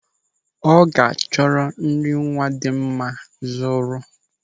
Ọ ga-achọ nri nwa dị mma zụrụ.